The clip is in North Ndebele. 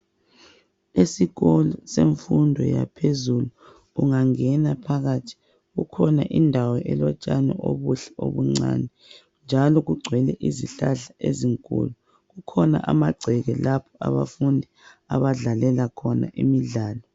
Esikolo semfundo yaphezulu ungangena phakathi kukhona indawo elotshani obuhle obuncani njalo kugcwele izihlahla ezinkulu kukhona amagceke lapho abafundi abadlalela khona imidlalo.